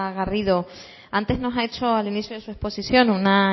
garrido antes nos ha hecho al inicio de su exposición una